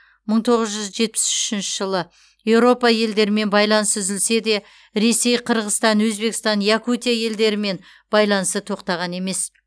мың тоғыз жүз жетпіс үшінші жылы еуропа елдерімен байланыс үзілсе де ресей қырғыстан өзбекстан якутия елдерімен байланысы тоқтаған емес